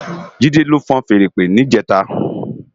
Jide ló fúùn fèèrè ìpè nijètá